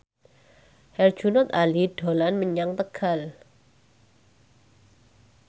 Herjunot Ali dolan menyang Tegal